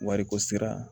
Wariko sira